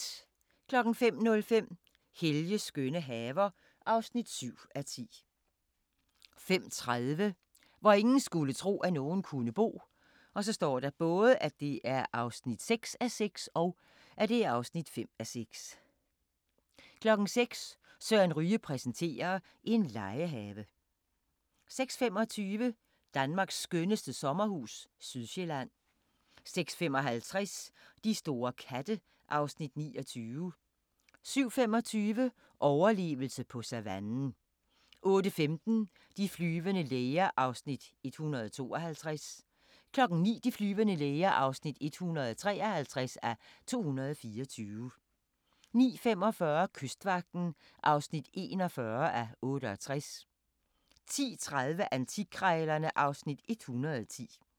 05:05: Helges skønne haver (7:10) 05:30: Hvor ingen skulle tro, at nogen kunne bo (6:6) (5:6) 06:00: Søren Ryge præsenterer: En legehave 06:25: Danmarks skønneste sommerhus – Sydsjælland 06:55: De store katte (Afs. 29) 07:25: Overlevelse på savannen 08:15: De flyvende læger (152:224) 09:00: De flyvende læger (153:224) 09:45: Kystvagten (41:68) 10:30: Antikkrejlerne (Afs. 110)